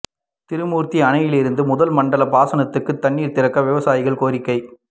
திருமூா்த்தி அணையிலிருந்து முதல் மண்டல பாசனத்துக்கு தண்ணீா் திறக்க விவசாயிகள் கோரிக்கை